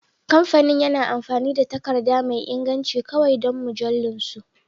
Kamfanin yana amfani da takarda mai inganci kawai don mujallunsu